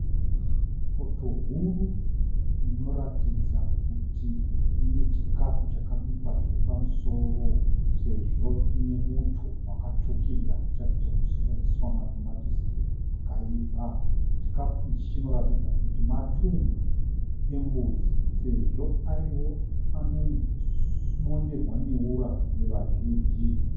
Poto huru inoratidza kuti ine chikafu chakabikwa zvepamusoro sezvo chine muto wakatsvukira zvichiratidza kuti makaiswa matomatisi akaibva. Chikafu ichi chinoratidza kuti matumbu embudzi sezvo ariwo anomonerwa neura nevazhinji.